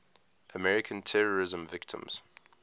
american terrorism victims